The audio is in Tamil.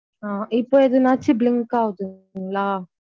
இப்போ எதுனாச்சும் blink ஆவுதுன்களா?